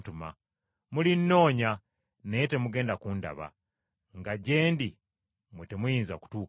Mulinnoonya, naye temugenda kundaba, nga gye ndi, mmwe temuyinza kutuukayo.”